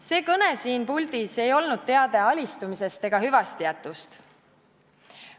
See kõne siin puldis ei olnud teade alistumisest ega hüvastijätust.